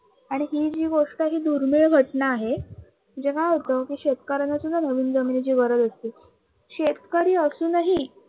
आणि ही जी गोष्ट आहे ही दुर्मिळ घटना आहे. शेतकरी असूनही